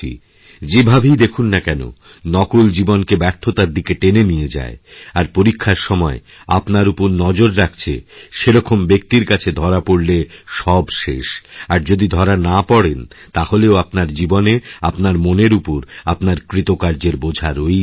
যেভাবেই দেখুন না কেন নকলজীবনকে ব্যর্থতার দিকে টেনে নিয়ে যায় আর পরীক্ষার সময় আপনার উপর নজর রাখছে সে রকমব্যক্তির কাছে ধরা পরলে সব শেষ আর যদি ধরা না পড়েন তাহলেও আপনার জীবনে আপনার মনেরউপর আপনার কৃতকার্যের বোঝা রয়েই যাবে